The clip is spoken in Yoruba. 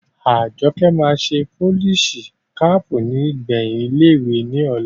Àjọkẹ́ máa ṣe polisi kaàpù ní ìgbẹ̀yìn ilé ìwé ní ọ̀la